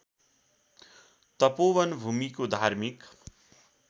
तपोवन भूमिको धार्मिक